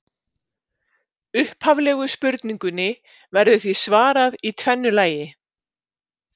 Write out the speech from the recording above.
Upphaflegu spurningunni verður því svarað í tvennu lagi.